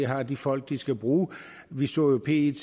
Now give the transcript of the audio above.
har de folk de skal bruge vi så jo at pet